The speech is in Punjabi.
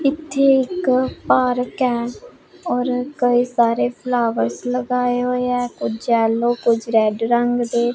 ਇੱਥੇ ਇੱਕ ਪਾਰਕ ਹੈ ਔਰ ਕਈ ਸਾਰੇ ਫਲਾਵਰਸ ਲਗਾਏ ਹੋਏ ਹੈਂ ਕੁਝ ਯੈੱਲੋ ਕੁਝ ਰੈੱਡ ਰੰਗ ਦੇ।